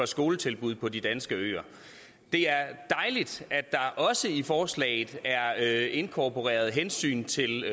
skoletilbud på de danske øer det er dejligt at der også i forslaget er inkorporeret et hensyn til